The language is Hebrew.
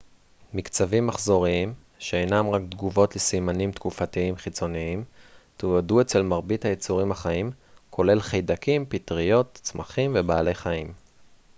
מקצבים מחזוריים שאינם רק תגובות לסימנים תקופתיים חיצוניים תועדו אצל מרבית היצורים החיים כולל חיידקים פטריות צמחים ובעלי חיים